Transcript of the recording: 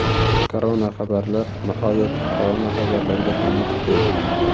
Koronaxabarlar Nihoyat koronaxabarlarga ham yetib keldik.